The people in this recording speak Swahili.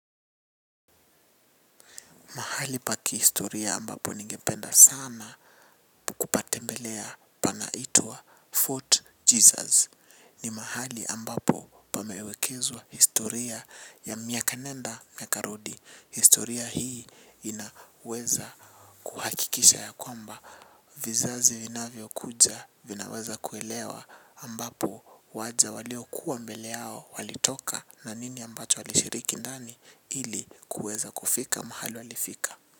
Mahali pa kihistoria ambapo ningependa sana patembelea panaitwa Fort Jesus. Ni mahali ambapo pamewekezwa historia ya miaka nenda na miaka rudi. Historia hii inaweza kuhakikisha ya kwamba vizazi vinavyo kuja vinaweza kuelewa ambapo waja walio kuwa mbele yao walitoka na nini ambacho walishiriki ndani ili kuweza kufika mahali walifika.